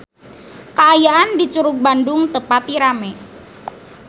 Kaayaan di Curug Bandung teu pati rame